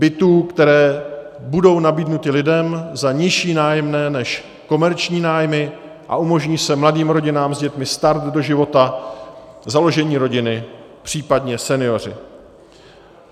Bytů, které budou nabídnuty lidem za nižší nájemné než komerční nájmy a umožní se mladým rodinám s dětmi start do života, založení rodiny, případně senioři.